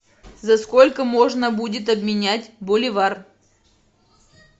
за сколько можно будет обменять боливар